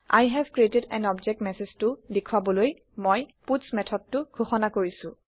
I have created an object মেচেজটো দেখোৱাবলৈ মই পাটছ methodটো ঘোষণা কৰিছো